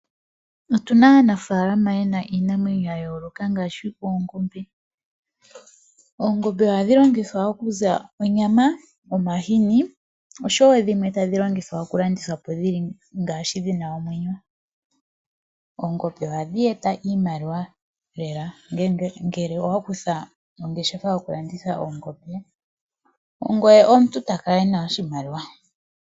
Otu na aanafalama ye na iinamwenyo ya yooloka ngaashi oongombe. Oongombe ohadhi longithwa okuza onyama nomahini oshowo dhimwe tadhi landithwa po dhi na omwenyo. Oongombe ohadhi eta oshimaliwa lela ngele owa kutha ongeshefa yokulanditha oongombe ongoye omuntu to kala wu na oshimaliwa.